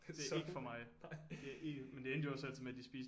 Det er ikke for mig det er ikke men det endte også altid med at de spiste